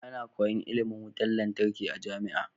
Ana koyan ilimin wutar lantarki a jamia